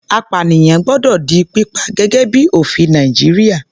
Apànìyàn gbọ́dọ̀ di pípa, gẹ́gẹ́ bíi ofin Nàìjíríà.